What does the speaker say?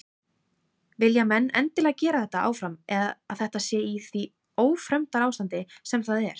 Vilja menn endilega gera þetta áfram að þetta sé í því ófremdarástandi sem það er?